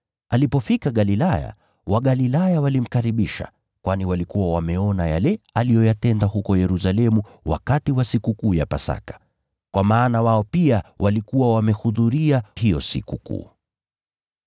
Alipofika Galilaya, Wagalilaya walimkaribisha, kwani walikuwa wameona yale aliyoyatenda huko Yerusalemu wakati wa Sikukuu ya Pasaka. Kwa maana wao pia walikuwa wamehudhuria hiyo Sikukuu.